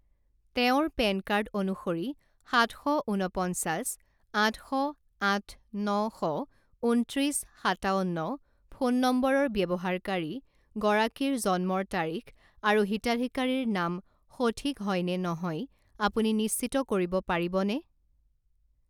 তেওঁৰ PAN card অনুসৰি সাত শ ঊনপঞ্চাছ আঠ শ আঠ ন শ ঊনত্ৰিছ সাতাৱন্ন ফোন নম্বৰৰ ব্যৱহাৰকাৰী গৰাকীৰ জন্মৰ তাৰিখ আৰু হিতাধিকাৰীৰ নাম সঠিক হয়নে নহয় আপুনি নিশ্চিত কৰিব পাৰিবনে?